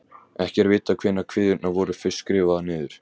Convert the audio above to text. Ekki er vitað hvenær kviðurnar voru fyrst skrifaðar niður.